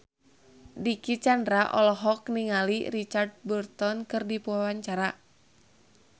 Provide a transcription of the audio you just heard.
Dicky Chandra olohok ningali Richard Burton keur diwawancara